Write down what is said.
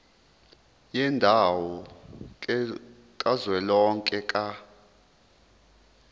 yendawo kazwelonke ka